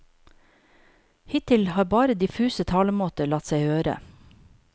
Hittil har bare diffuse talemåter latt seg høre.